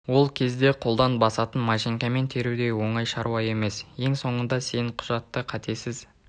ол кезде қолдан басатын машинкамен теру де оңай шаруа емес ең соңында сен құжатты қатесіз